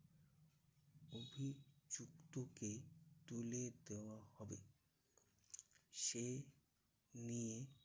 অভিযুক্তকে তুলে দেওয়া হবে? সে নিয়ে